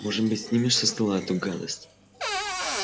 может быть снимешь со стола эту гадость